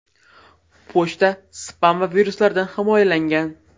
Pochta spam va viruslardan himoyalangan.